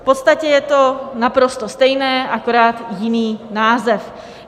V podstatě je to naprosto stejné, akorát jiný název.